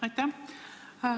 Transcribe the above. Aitäh!